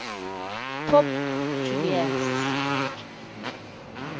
pope julius